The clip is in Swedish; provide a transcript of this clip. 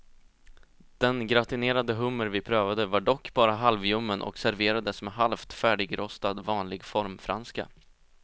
Den gratinerade hummer vi prövade var dock bara halvljummen och serverades med halvt färdigrostad vanlig formfranska.